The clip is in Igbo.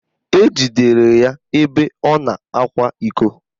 Ejidere ya ebe ọ na-akwa iko